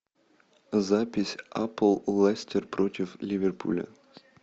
запись апл лестер против ливерпуля